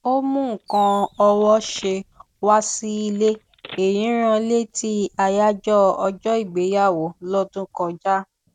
ó mú nǹkan ọwọṣe wá sílé èyí rán létí àyájọ ọjọ ìgbéyàwó lọdún kọjá